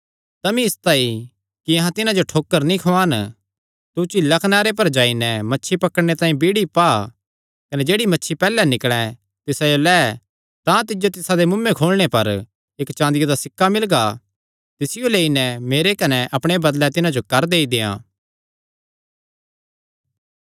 तमी इसतांई कि अहां तिन्हां जो ठोकर नीं खुआन तू झीला कनारे पर जाई नैं मच्छी पकड़णे तांई बिइड़ी पा कने जेह्ड़ी मच्छी पैहल्ले निकल़ैं तिसायो लै तां तिज्जो तिसादे मुँऐ खोलणे पर इक्क चाँदिया दा सिक्का मिलगा तिसियो लेई नैं मेरे कने अपणे बदले तिन्हां जो कर देई देंआ